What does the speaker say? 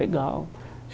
Legal.